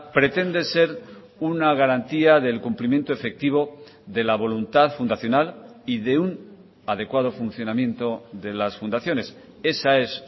pretende ser una garantía del cumplimiento efectivo de la voluntad fundacional y de un adecuado funcionamiento de las fundaciones esa es